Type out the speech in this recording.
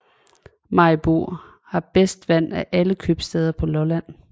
Maribo har bedst vand af alle købstæder på Lolland